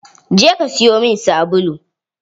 Je ka siyo min sabulu!